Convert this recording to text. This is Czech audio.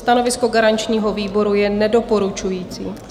Stanovisko garančního výboru je nedoporučující.